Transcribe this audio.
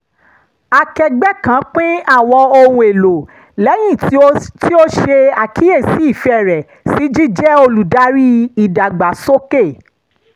akẹgbẹ́ kan pín àwọn ohun èlò lẹ́yìn tí ó ṣe àkíyèsi ìfẹ́ rẹ̀ sí jíjẹ́ olùdarí ìdàgbàsólè